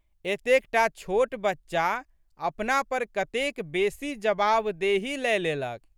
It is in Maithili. एतेक टा छोट बच्चा अपना पर कतेक बेसी जवाबदेही लए लेलक।